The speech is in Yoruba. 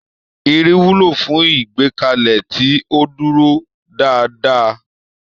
Irin wúlò fún ìgbékalẹ̀ tí ó dúró dáadáa.